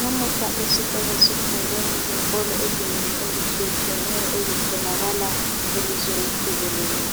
Lamuhla esikolo sifundo ngezinkolo ezinengi ezitshiyetshiyeneyo ezitholakala elizweni jikelele.